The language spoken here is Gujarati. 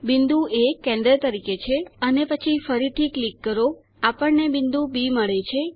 બિંદુ એ કેન્દ્ર તરીકે છે